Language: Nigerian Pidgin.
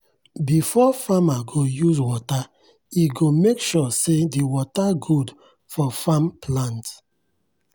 before farmer go use water e go make sure say de water good for farm plant.